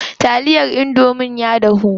Taliyar indomie ta dahu.